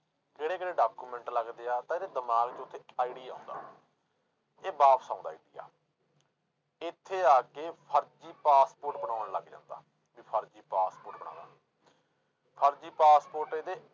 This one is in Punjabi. ਕਿਹੜੇ ਕਿਹੜੇ document ਲੱਗਦੇ ਆ ਤਾਂ ਇਹਦੇ ਦਿਮਾਗ 'ਚ ਉੱਥੇ idea ਆਉਂਦਾ, ਇਹ ਵਾਪਸ ਆਉਂਦਾ ਇੰਡੀਆ ਇੱਥੇ ਆ ਕੇ ਫ਼ਰਜ਼ੀ ਪਾਸਪੋਰਟ ਬਣਾਉਣ ਲੱਗ ਜਾਂਦਾ, ਵੀ ਫ਼ਰਜ਼ੀ ਪਾਸਪੋਰਟ ਫ਼ਰਜ਼ੀ ਪਾਸਪੋਰਟ ਇਹਦੇ